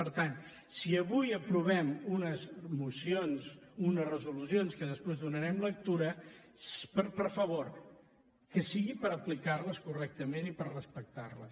per tant si avui aprovem unes mocions unes resolucions a què després donarem lectura per favor que sigui per aplicar les correctament i per respectar les